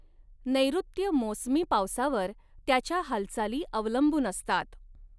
नैर्ॠत्य मोसमी पावसावर त्याच्या हालचाली अवलंबून असतात.